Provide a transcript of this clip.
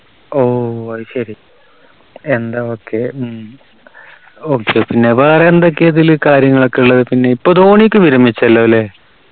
ഓ അത് ശരി എന്താ ഒക്കെ ഉം okay പിന്ന വേറെ എന്തൊക്കെയാ ഇതിൽ കാര്യങ്ങളൊക്കെ ഉള്ളത് പിന്നെ ഇപ്പോ ധോണിയൊക്കെ വിരമിച്ചല്ലോ ലെ